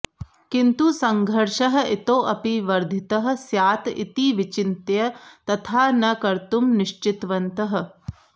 किन्तु सङ्घर्षः इतोऽपि वर्धितः स्यात् इति विचिन्त्य तथा न कर्तुं निश्चितवन्तः